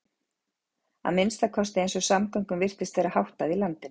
Að minnsta kosti eins og samgöngum virtist vera háttað í landinu.